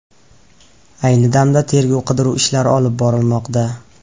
Ayni damda tergov-qidiruv ishlari olib borilmoqda.